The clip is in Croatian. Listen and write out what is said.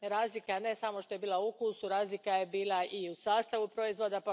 Razlika ne samo što je bila u okusu, razlika je bila i u sastavu proizvoda.